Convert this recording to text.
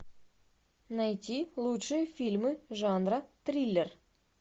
найди лучшие фильмы жанра триллер